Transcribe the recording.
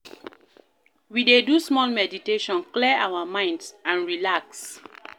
We dey do small meditation, clear our minds and relax.